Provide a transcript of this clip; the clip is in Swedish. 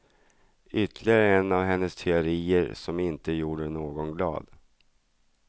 Ytterligare en av hennes teorier som inte gjorde någon glad.